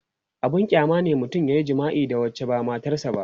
abun kyama ne mutum yayi jima'i da wacce ba matar sa ba